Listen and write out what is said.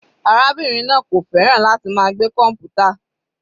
Arábìnrin náà kò fẹ́ràn láti máa gbé kọmputa.